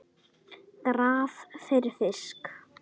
Graf fyrir fisk.